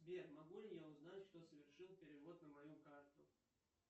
сбер могу ли я узнать кто совершил перевод на мою карту